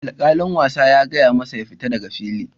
Alkalin wasa ya gaya masa "Ya fita daga fili"!,